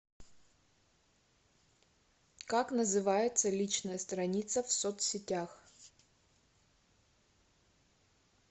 как называется личная страница в соц сетях